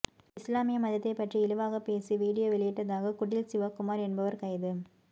இஸ்லாமிய மதத்தை பற்றி இழிவாக பேசி வீடியோ வெளியிட்டதாக குடில் சிவகுமார் என்பவர் கைது